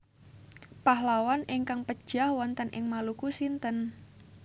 Pahlawan ingkang pejah wonten ing Maluku sinten?